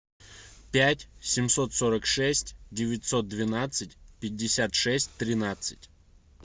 пять семьсот сорок шесть девятьсот двенадцать пятьдесят шесть тринадцать